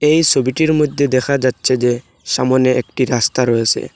এই ছবিটির মধ্যে দেখা যাচ্ছে যে সামোনে একটি রাস্তা রয়েছে।